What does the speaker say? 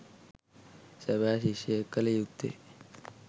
සැබෑ ශිෂ්‍යයෙක් කළ යුත්තේ